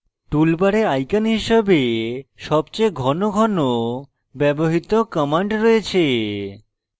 toolbar icons হিসাবে সবচেয়ে ঘন ঘন ব্যবহৃত commands রয়েছে